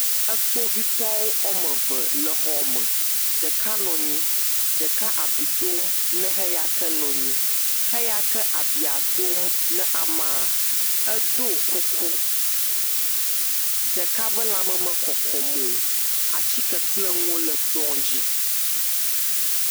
Ekpovitɔwo woame ve le xɔme. Ɖeka nɔ nyi. Ɖeka bi dom na heya ke nɔ nyi. Heya ke abia dom na amaa, edoo kuku, ɖeka ƒe lãme mekɔkɔm o. Atsike kple nuwo le kplɔ̃ dzi.